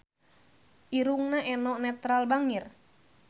Irungna Eno Netral bangir